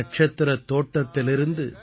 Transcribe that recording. நட்சத்திரத் தோட்டத்திலிருந்து